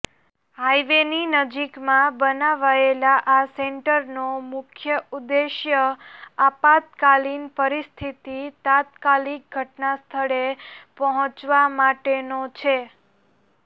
હાઈવેની નજીકમાં બનાવાયેલા આ સેન્ટરનો મુખ્ય ઉદ્દેશ્ય આપાતકાલિન પરિસ્થિતિ તાત્કાલિક ઘટનાસ્થળે પહોંચવા માટેનો છે